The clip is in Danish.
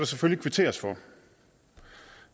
selvfølgelig kvitteres for